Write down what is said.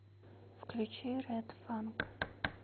включи ред фанг